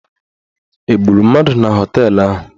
Egburu mmadụ na họteelụ ahụ?